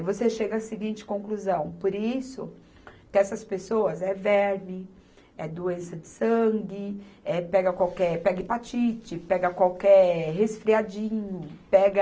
Aí você chega à seguinte conclusão, por isso que essas pessoas, é verme, é doença de sangue, é pega qualquer, pega hepatite, pega qualquer resfriadinho, pega